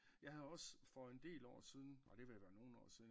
Jeg havde også for en del år siden nej det er ved at være nogen år siden